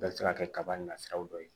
Bɛɛ bɛ se ka kɛ kaba na sira dɔ ye